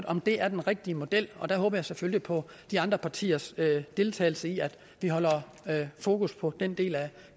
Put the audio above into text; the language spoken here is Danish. om det er den rigtige model og der håber jeg selvfølgelig på de andre partiers deltagelse i at vi holder fokus på den del af